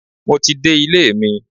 Mo ti dé ilé mi.